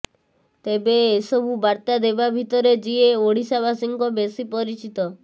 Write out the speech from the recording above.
ତେବେ ଏସବୁ ବାର୍ତ୍ତା ଦେବା ଭିତରେ ଯିଏ ଓଡିଶାବାସୀଙ୍କ ବେଶୀ ପରିଚିତ